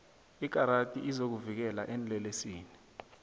ikarati izokuvikela eenlelesini